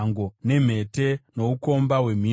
nemhete, noukomba hwemhino,